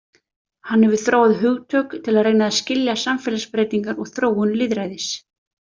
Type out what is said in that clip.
Hann hefur þróað hugtök til að reyna að skilja samfélagsbreytingar og þróun lýðræðis.